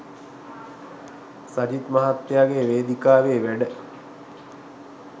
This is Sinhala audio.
සජිත් මහත්තයාගේ වේදිකාවේ වැඩ.